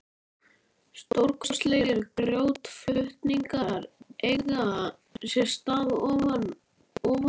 Stórkostlegir grjótflutningar eiga sér stað ofan úr